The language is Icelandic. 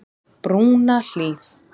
Brúnahlíð